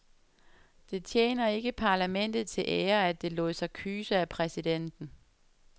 Det tjener ikke parlamentet til ære, at det lod sig kyse af præsidenten.